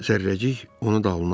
Zərrəcik onu dalına aldı.